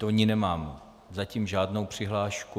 Do ní nemám zatím žádnou přihlášku.